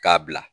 K'a bila